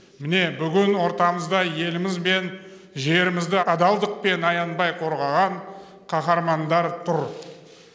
міне бүгін ортамызда еліміз бен жерімізді адалдықпен аянбай қорғаған қаһармандар тұр